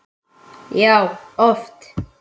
Já, oft.